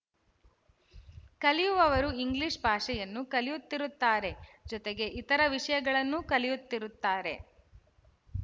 ಕಲಿಯುವವರು ಇಂಗ್ಲಿಶ ಭಾಷೆಯನ್ನು ಕಲಿಯುತ್ತಿರುತ್ತಾರೆ ಜೊತೆಗೆ ಇತರ ವಿಶಯಗಳನ್ನೂ ಕಲಿಯುತ್ತಿರುತ್ತಾರೆ